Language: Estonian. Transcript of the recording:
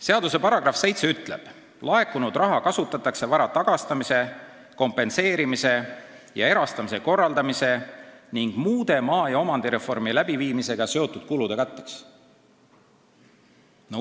Seaduse § 7 ütleb, et laekunud raha kasutatakse vara tagastamise, kompenseerimise ja erastamise korraldamise ning muude maa- ja omandireformi läbiviimisega seotud kulude katteks.